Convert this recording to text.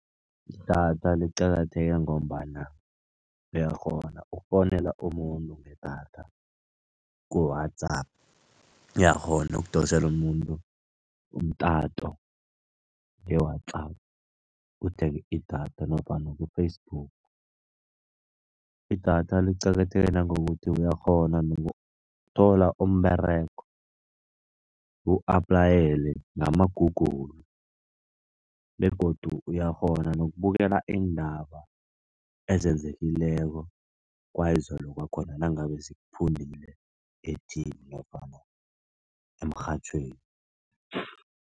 Idatha liqakatheke ngombana uyakghona ukufowunela umuntu ngedatha ku-WhatsApp. Uyakghona ukudosela umuntu umtato nge-WhatsApp, uthenge idatha nofana ku-Facebook. Idatha liqakatheke nangokuthi uyakghona nokuthola umberego u-aplayele nama-Google begodu uyakghona nokubukela iindaba ezenzekileko kwayizolo kwakhona nangabe zikuphundile e-T_V nofana emrhatjhweni.